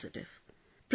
I was the only positive